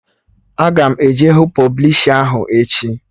Aga m eje hụ pọblishi ahụ echi